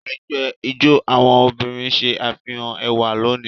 Ẹgbẹ́ ijó àwọn obìnrin ṣe àfihàn ẹwà lónìí